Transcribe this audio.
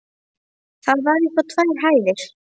Það var upp á tvær hæðir.